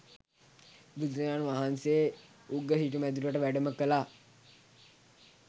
බුදුරජාණන් වහන්සේ උග්ග සිටුමැදුරට වැඩම කළා.